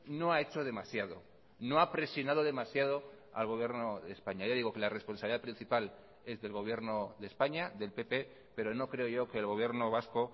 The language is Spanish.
no ha hecho demasiado no ha presionado demasiado al gobierno de españa ya digo que la responsabilidad principal es del gobierno de españa del pp pero no creo yo que el gobierno vasco